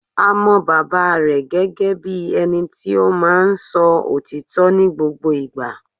A mọ bàbá rẹ̀ gẹ́gẹ́ bíi ẹni tí o máa ń so òtítọ́ ní gbogbo ìgbà